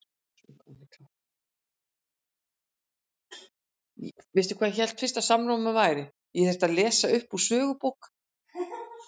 Hann hefur alla eiginleika til að spila sem sitjandi miðjumaður